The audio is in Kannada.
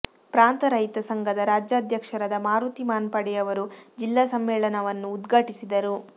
ಪ್ರಾಂತ ರೈತ ಸಂಘದ ರಾಜ್ಯಾ ಧ್ಯಕ್ಷರಾದ ಮಾರುತಿ ಮಾನ್ಪಡೆಯವರು ಜಿಲ್ಲಾ ಸಮ್ಮೇಳನವನ್ನು ಉದ್ಘಾಟಿಸಿದರು